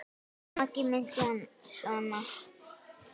Maggi minn sona!